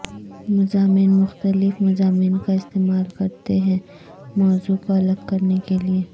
مضامین مختلف مضامین کا استعمال کرتے ہیں موضوع کو الگ کرنے کے لئے